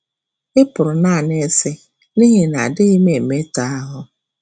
ị pụrụ nanị ịsị, N’ihi na adịghị m emetọ ahụ́